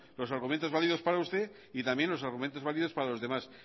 los argumentos válidos para usted y también los argumentos válidos para los demás